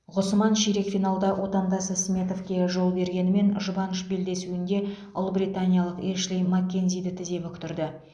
ғұсман ширек финалда отандасы сметовке жол бергенімен жұбаныш белдесуінде ұлыбританиялық эшли маккензиді тізе бүктірді